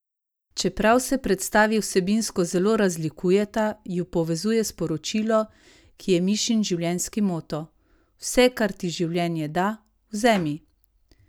Čeprav se predstavi vsebinsko zelo razlikujeta, ju povezuje sporočilo, ki je Mišin življenjski moto: "Vse, kar ti življenje da, vzemi.